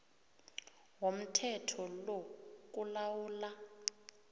womthetho lo kulawula